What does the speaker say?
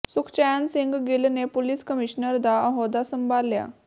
ਸੁਖਚੈਨ ਸਿੰਘ ਗਿੱਲ ਨੇ police commissioner ਦਾ ਅਹੁਦਾ ਸੰਭਾਲਿਆ